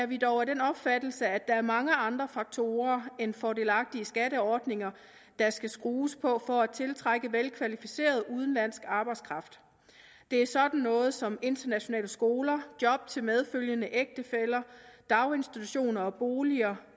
vi er dog af den opfattelse at der er mange andre faktorer end fordelagtige skatteordninger der skal skrues på for at tiltrække velkvalificeret udenlandsk arbejdskraft det er sådan noget som internationale skoler job til medfølgende ægtefæller daginstitutioner og boliger